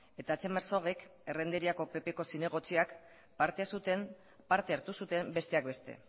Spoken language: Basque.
eta txema herzogek errenteriako ppko zinegotziak parte hartu zuten besteak beste